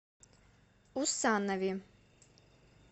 усанове